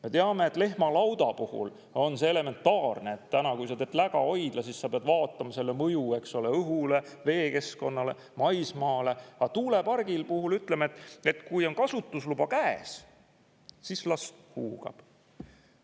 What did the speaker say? Me teame, et lehmalauda puhul on see elementaarne, et täna, kui sa tees lägahoidla, siis sa pead vaatama selle mõju, eks ole, õhule, veekeskkonnale, maismaale, aga tuulepargi puhul ütleme, et kui on kasutusluba käes, siis las huugab.